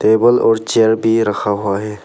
Table और chair भी रखा हुआ है।